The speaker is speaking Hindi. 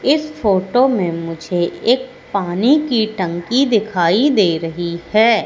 इस फोटो में मुझे एक पानी की टंकी दिखाई दे रही है।